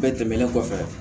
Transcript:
Bɛɛ tɛmɛnen kɔfɛ